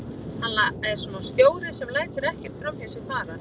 Hann er svona stjóri sem lætur ekkert framhjá sér fara.